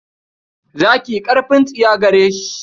Zaki ƙarfin tsiya gare shi.